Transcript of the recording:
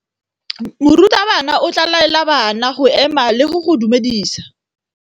Morutabana o tla laela bana go ema le go go dumedisa.